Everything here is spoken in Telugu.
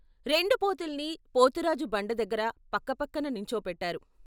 రెండు పోతుల్ని పోతురాజు బండ దగ్గర పక్క పక్కన నుంచో పెట్టారు.